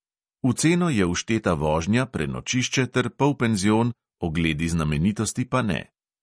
V ceno je všteta vožnja, prenočišče ter polpenzion, ogledi znamenitosti pa ne.